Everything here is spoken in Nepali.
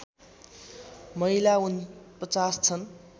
महिला ४९ छन्